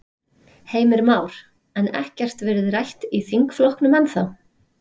Heimir Már: En ekkert verið rætt í þingflokknum ennþá?